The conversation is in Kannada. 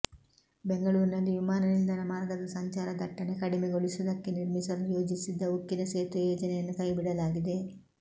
ಬೆಂಗಳೂರಿನಲ್ಲಿ ವಿಮಾನ ನಿಲ್ದಾಣ ಮಾರ್ಗದ ಸಂಚಾರ ದಟ್ಟಣೆ ಕಡಿಮೆಗೊಳಿಸುವುದಕ್ಕೆ ನಿರ್ಮಿಸಲು ಯೋಜಿಸಿದ್ದ ಉಕ್ಕಿನ ಸೇತುವೆ ಯೋಜನೆಯನ್ನು ಕೈಬಿಡಲಾಗಿದೆ